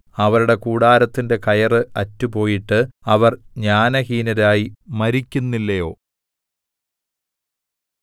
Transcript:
അവരുടെ കൂടാരത്തിന്റെ കയറ് അറ്റുപോയിട്ട് അവർ ജ്ഞാനഹീനരായി മരിക്കുന്നില്ലയോ